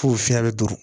F'o fiɲɛ be don